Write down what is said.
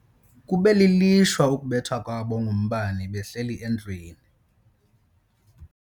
Kube lilishwa ukubethwa kwabo ngumbane behleli endlwini.